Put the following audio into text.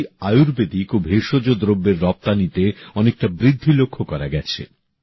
সম্প্রতি আয়ুর্বেদিক ও ভেষজ দ্রব্যের রপ্তানিতে অনেকটা বৃদ্ধি লক্ষ্য করা গেছে